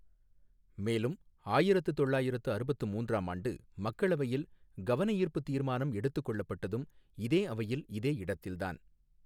மேலும் ஆயிரத்து தொள்ளாயிரத்து அறுபத்து மூன்றாம் ஆண்டு மக்களவையில் கவனஈர்ப்புத் தீர்மானம் எடுத்துக் கொள்ளப்பட்டதும், இதே அவையில் இதே இடத்தில்தான்.